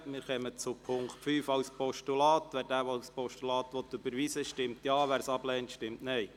Wer den Punkt 5 als Postulat überweisen will stimmt Ja, wer dies ablehnt, stimmt Nein.